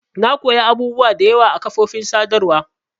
Na koya abubuwa da yawa a kafofin sadarwa.